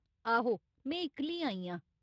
आहो, में इक्कली आई आं।